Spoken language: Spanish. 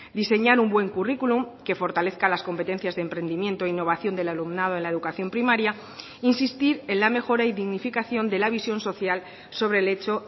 diseñar un buen curriculum que fortalezca las competencias de emprendimiento e innovación del alumnado en la educación primaria insistir en la mejora y dignificación de la visión social sobre el hecho